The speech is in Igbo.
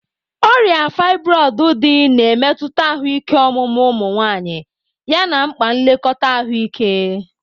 Ọrịa fibroids dị, na-emetụta ahụike ọmụmụ ụmụ nwanyị yana mkpa nlekọta ahụike.